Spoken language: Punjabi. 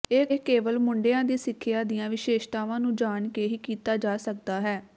ਇਹ ਕੇਵਲ ਮੁੰਡਿਆਂ ਦੀ ਸਿੱਖਿਆ ਦੀਆਂ ਵਿਸ਼ੇਸ਼ਤਾਵਾਂ ਨੂੰ ਜਾਣ ਕੇ ਹੀ ਕੀਤਾ ਜਾ ਸਕਦਾ ਹੈ